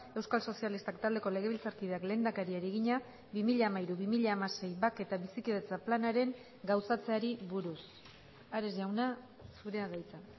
euskal sozialistak taldeko legebiltzarkideak lehendakariari egina bi mila hamairu bi mila hamasei bake eta bizikidetza planaren gauzatzeari buruz ares jauna zurea da hitza